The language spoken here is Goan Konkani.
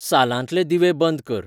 सालांतले दिवे बंंद कर